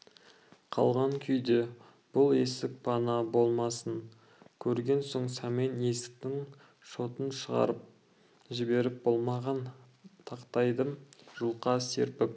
қалған күйде бұл есік пана болмасын көрген соң сәмен есіктің шотын шығарып жіберіп болмаған тақтайды жұлқа серпіп